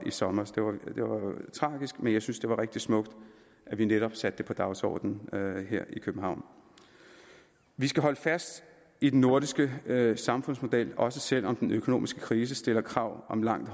sommer det var tragisk men jeg synes det var rigtig smukt at vi netop satte det på dagsordenen her i københavn vi skal holde fast i den nordiske samfundsmodel også selv om den økonomiske krise stiller krav om langt